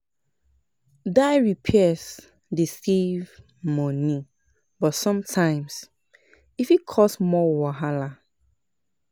DIY repairs dey save money, but sometimes e fit cause more wahala.